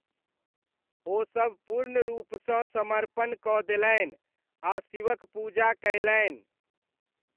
ओसब पूर्ण रूपसँ समर्पण कऽ देलनि आ शिवक पूजा कयलनि।